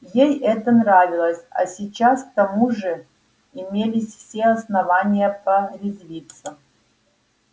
ей это нравилось а сейчас к тому же имелись все основания порезвиться